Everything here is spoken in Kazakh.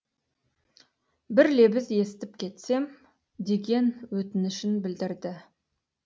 бір лебіз естіп кетсем деген өтінішін білдірді